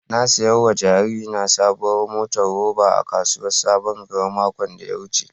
Na saya wa jaririna saɓuwar motar roba a kasuwar saɓon gari maƙon da ya wuce.